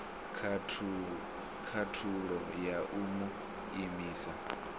khathulo ya u mu imisa